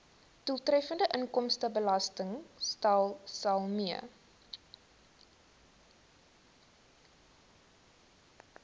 doeltreffende inkomstebelastingstelsel mee